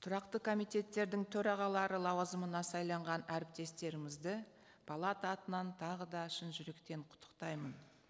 тұрақты комитеттердің төрағалары лауазымына сайланған әріптестерімізді палата атынан тағы да шын жүректен құттықтаймын